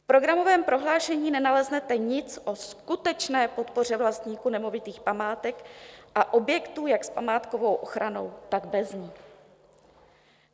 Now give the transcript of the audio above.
V programovém prohlášení nenaleznete nic o skutečné podpoře vlastníků nemovitých památek a objektů, jak s památkovou ochranou, tak bez ní.